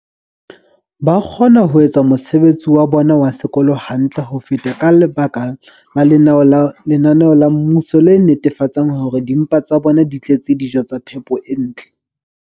ba kgona ho etsa mosebetsi wa bona wa sekolo hantle ho feta ka lebaka la lenaneo la mmuso le netefatsang hore dimpa tsa bona di tletse dijo tsa phepo e ntle.